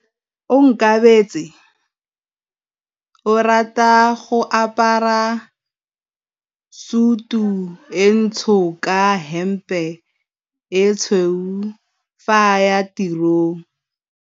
Onkabetse o rata go apara sutu e ntsho ka hempe e tshweu fa a ya tirong.